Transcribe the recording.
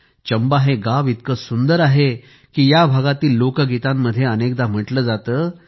चंबा हे गाव इतके सुंदर आहे की या भागातील लोकगीतांमध्ये अनेकदा म्हटले जाते